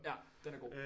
Ja den er god